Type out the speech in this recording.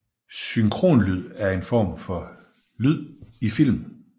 Synkronlyd er en form for lyd i film